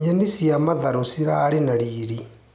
Nyeni cia mathangũ cirarĩ na riri.